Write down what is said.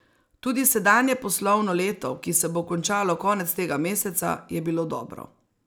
Tudi sedanje poslovno leto, ki se bo končalo konec tega meseca, je bilo dobro.